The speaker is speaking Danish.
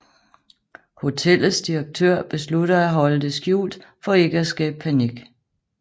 Hotellets direktør beslutter at holde det skjult for ikke at skabe panik